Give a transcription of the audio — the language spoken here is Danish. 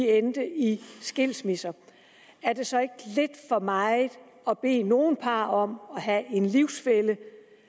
endte i skilsmisse er det så ikke lidt for meget at bede nogle par om at have en livsfælle